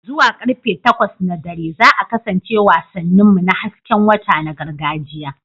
Zuwa karfe takwas na dare za a kasance wasannin mu na hasken wata na gargajiya.